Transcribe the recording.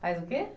Faz o quê?